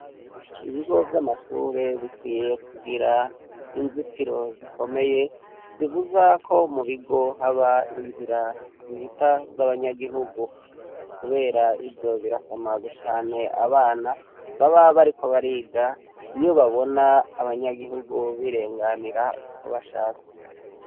Ibigo vy'amashure bikwiye kugira inzitiro zikomeye zibuza ko mu bigo haba inzira zihita z'abanyagigu, kubera ivyo birasamaza cane abana baba bariko bariga iyo babona abanyagihugu birenganira uko bashatse.